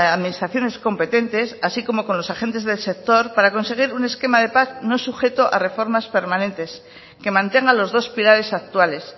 administraciones competentes así como con los agentes del sector para conseguir un esquema de paz no sujeto a reformas permanentes que mantenga los dos pilares actuales